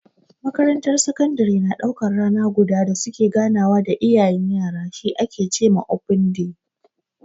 Makarantar sakandare na daukan rana guda da su ke ganawa da iyayen yara, shi ake ce ma "open day".